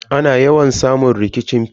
Ana yawan samun rikicin fili.